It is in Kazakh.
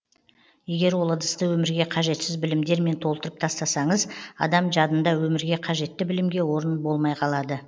егер ол ыдысты өмірге қажетсіз білімдермен толтырып тастасаңыз адам жадында өмірге қажетті білімге орын болмай қалады